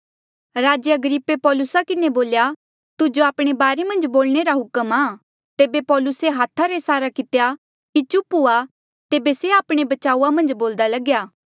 राजे अग्रिप्पे पौलुसा किन्हें बोल्या तुजो आपणे बारे मन्झ बोलणे रा हुक्म आ तेबे पौलुसे हाथा रा इसारा कितेया की चुप हुआ तेबे से आपणे बचाऊआ मन्झ बोल्दा लग्या